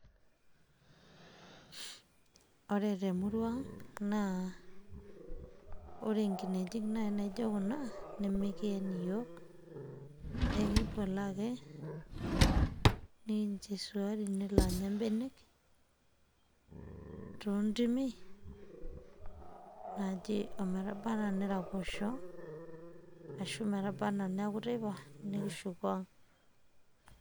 Ore temurua ang',naa ore nkinejik nai naijo kuna, nimikien iyiok. Ekiboloo ake, nikincho isiruai nelo anya benek, toontimi, naaje emetabaa neraposho, ashu metaba naa neeku teipa, nikishuku ang'.